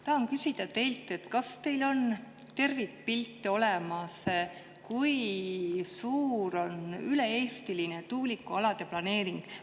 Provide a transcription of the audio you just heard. Tahan küsida teilt, kas teil on olemas tervikpilt selle kohta, kui suur on üle-eestiline tuulikualade planeering.